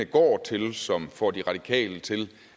går til og som får de radikale til